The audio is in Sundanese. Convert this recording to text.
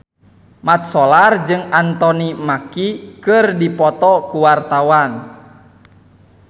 Mat Solar jeung Anthony Mackie keur dipoto ku wartawan